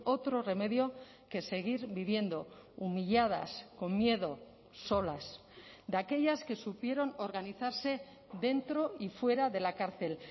otro remedio que seguir viviendo humilladas con miedo solas de aquellas que supieron organizarse dentro y fuera de la cárcel